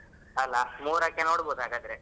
ಅಲ ಮೂರಕ್ಕೆ ನೋಡ್ಬಹುದ್ ಹಾಗಾದ್ರೆ?